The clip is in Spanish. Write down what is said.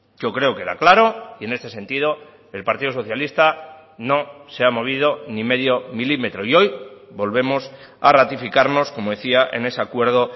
yo creo que era claro y en este sentido el partido socialista no se ha movido ni medio milímetro y hoy volvemos a ratificarnos como decía en ese acuerdo